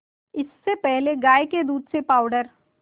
इससे पहले गाय के दूध से पावडर